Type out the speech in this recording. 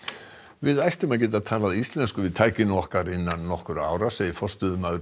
við ættum að geta talað íslensku við tækin okkar innan nokkurra ára segir forstöðumaður